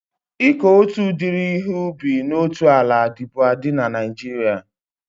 Ịkọ otu udiri ihe ubi na otu ala dịbu adị na Naijiria